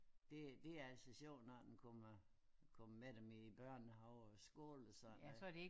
Det det altså sjovt når man kommer kommer med dem i børnehave og skole og sådan noget